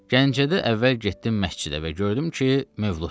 Gəncədə əvvəl getdim məscidə və gördüm ki, mövluddur.